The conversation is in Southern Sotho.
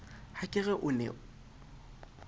ha ke re o ne